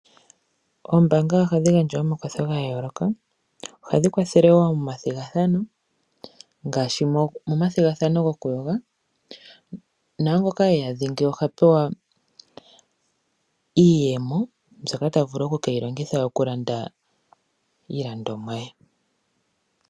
Oombaanga ohadhi gandja omakwatho ga yooloka ohadhi kwathele moma thigathano ngaashi moma thigathano goku yoga naangoka eya dhingi ohapewa iiyemo mbyoka ta vulu okeyi longitha okulanda iilandomwa ye.